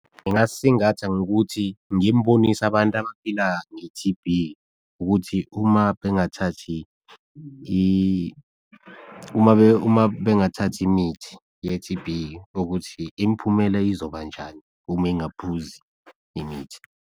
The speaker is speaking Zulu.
Ngingasisingatha ngokuthi ngimbonise abantu abaphila nge T_B ukuthi uma bengathathi uma bengathathi imithi ye T_B ukuthi imiphumela izobanjani uma engaphuzi imithi.